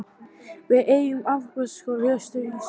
Við eigum afbragðs skóla austur í Síberíu.